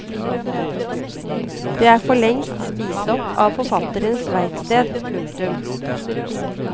Det er forlengst spist opp av forfatterens verksted. punktum